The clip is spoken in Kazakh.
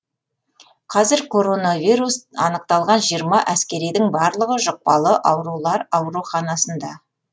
қазір коронавирус анықталған жиырма әскеридің барлығы жұқпалы аурулар ауруханасында